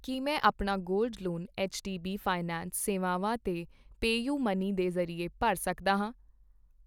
ਕੀ ਮੈਂ ਆਪਣਾ gold loan HDB finance ਸੇਵਾਵਾਂ ਤੇ ਪੇਯੁਮਨੀ ਦੇ ਜ਼ਰੀਏ ਭਰ ਸਕਦਾ ਹਾਂ ?